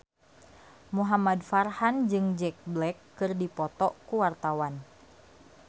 Muhamad Farhan jeung Jack Black keur dipoto ku wartawan